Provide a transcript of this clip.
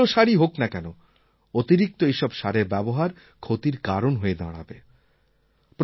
যত ভাল সারই হোক না কেন অতিরিক্ত এইসব সারের ব্যবহার ক্ষতির কারণ হয়ে দাঁড়াবে